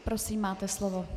Prosím, máte slovo.